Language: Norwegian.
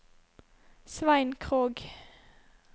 Svein Krogh